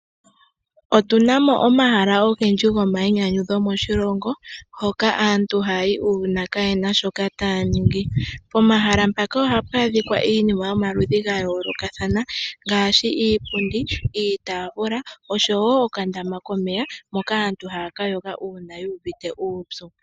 Otuna mo omahala ogendji gokwiinyanyudha moshilongo, hoka antu haya yi uuna kayena shoka taya ningi. Omahala ngaka ohapu adhika iinima yomaludhi gayoolokathana ngaashi iipundi, iitafula osho wo okadama komeya moka aantu haya ka yoga uuna yu uvite uupyu.